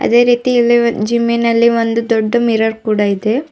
ಅದೇ ರೀತಿ ಇಲ್ಲಿ ಜಿಮ್ಮಿನಲ್ಲಿ ಒಂದು ದೊಡ್ಡ ಮಿರರ್ ಕೂಡ ಇದೆ.